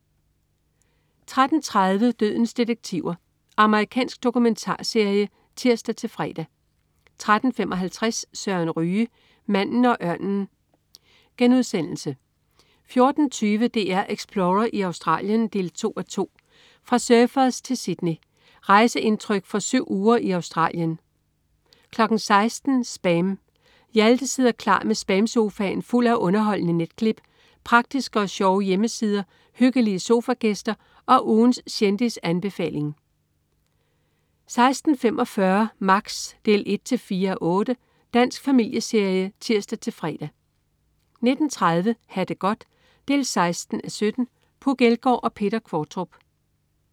13.30 Dødens detektiver. Amerikansk dokumentarserie (tirs-fre) 13.55 Søren Ryge. Manden og ørnen* 14.20 DR Explorer i Australien 2:2. Fra Surfers til Sydney. Rejseindtryk fra syv uger i Australien 16.00 SPAM. Hjalte sidder klar med SPAM-sofaen fuld af underholdende netklip, praktiske og sjove hjemmesider, hyggelige sofagæster og ugens kendisanbefaling 16.45 Max 1-4:8. Dansk familieserie (tirs-fre) 19.30 Ha' det godt 16:17. Puk Elgård og Peter Qvortrup